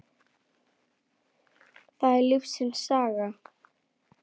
það er lífsins saga.